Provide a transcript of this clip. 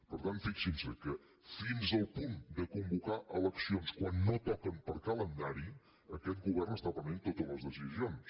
per tant fixin se que fins al punt de convocar eleccions quan no toquen per calendari aquest govern està prenent totes les decisions